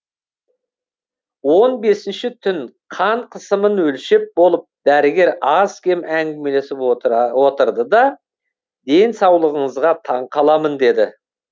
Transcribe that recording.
он бесінші түн қан қысымын өлшеп болып дәрігер аз кем әңгімелесіп отырды да денсаулығыңызға таң қаламын деді